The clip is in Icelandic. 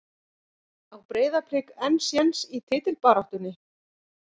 Á Breiðablik enn séns í titilbaráttunni?